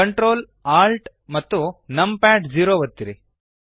control Alt amp num pad zero ಒತ್ತಿರಿ